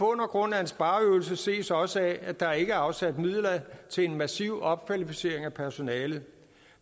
grund er en spareøvelse ses også af at der ikke er afsat midler til en massiv opkvalificering af personalet